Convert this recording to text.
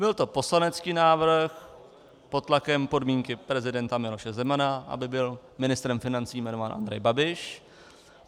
Byl to poslanecký návrh pod tlakem podmínky prezidenta Miloše Zemana, aby byl ministrem financí jmenován Andrej Babiš.